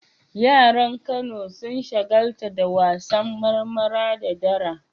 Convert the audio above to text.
Yaran Kano sun shagaltu da wasannin marmara da dara.